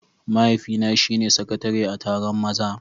Mahaifina shine sakatare a taron maza.